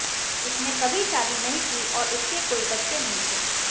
उसने कभी शादी नहीं की और उसके कोई बच्चे नहीं थे